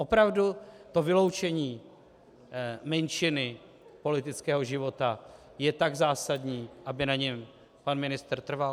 Opravdu to vyloučení menšiny politického života je tak zásadní, aby na něm pan ministr trval?